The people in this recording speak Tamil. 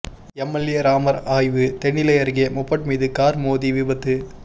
எம்எல்ஏ ராமர் ஆய்வு தென்னிலை அருகே மொபட் மீது கார் மோதி விபத்து